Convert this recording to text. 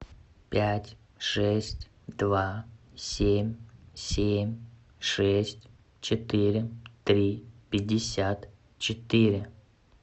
пять шесть два семь семь шесть четыре три пятьдесят четыре